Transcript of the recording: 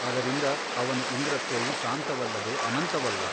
ಅದರಿಂದ ಅವನ ಇಂದ್ರತ್ವವು ಸಾಂತವಲ್ಲದೆ ಅನಂತವಲ್ಲ.